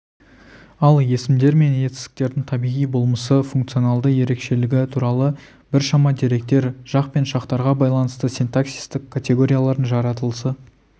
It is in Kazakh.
ал есімдер мен етістіктердің табиғи болмысы функционалды ерекшелігі туралы біршама деректер жақ пен шақтарға байланысты синтаксистік категориялардың жаратылысы